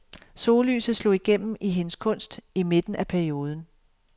Sollyset slog igennem i hendes kunst i midten af perioden.